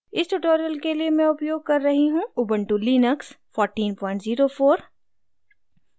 इस tutorial के लिए मैं उपयोग कर रही हूँ ubuntu लिनक्स 1404